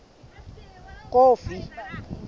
kofi